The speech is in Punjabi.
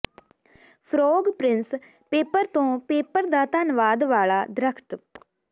ਫਰੋਗ ਪ੍ਰਿੰਸ ਪੇਪਰ ਤੋਂ ਪੇਪਰ ਦਾ ਧੰਨਵਾਦ ਵਾਲਾ ਦਰੱਖਤ